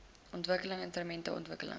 ontwikkeling ruimtelike ontwikkeling